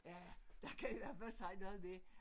Ja der kan i hvert fald sige noget med